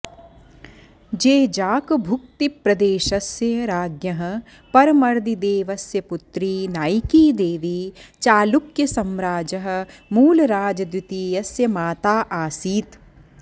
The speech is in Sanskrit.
जेजाकभुक्तिप्रदेशस्य राज्ञः परमर्दिदेवस्य पुत्री नाइकीदेवी चालुक्यसम्राजः मूलराजद्वितीयस्य माता आसीत्